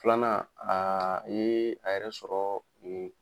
Filanan aa ee a yɛrɛ sɔrɔ nn